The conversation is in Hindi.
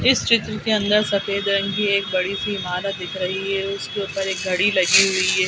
इस चित्र के अंदर सफ़ेद रंग की एक बड़ी-सी इमारत दिख रही है उसके ऊपर एक घड़ी लगी हुई है।